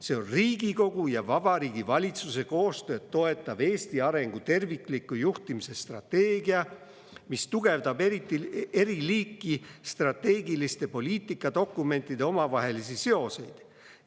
See on Riigikogu ja Vabariigi Valitsuse koostööd toetav Eesti arengu tervikliku juhtimise strateegia, mis tugevdab eri liiki strateegiliste poliitikadokumentide omavahelisi seoseid.